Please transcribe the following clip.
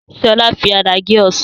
Sọlá fi àdá gé Ọsàn